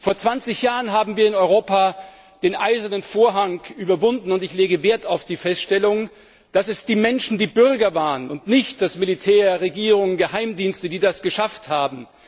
Vor 20 Jahren haben wir in Europa den Eisernen Vorhang überwunden, und ich lege Wert auf die Feststellung, dass es die Menschen, die Bürger waren und nicht das Militär, Regierungen oder Geheimdienste, die das geschafft haben.